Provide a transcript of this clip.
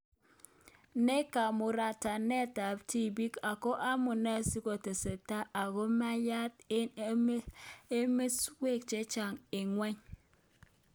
Ne kamuratanet ab tibiik ako amune si kotesetai ako maiyanat eng emesyok chechaang eng ngwony